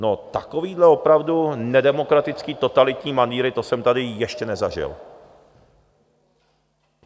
No takovéhle opravdu nedemokratické, totalitní manýry, to jsem tady ještě nezažil.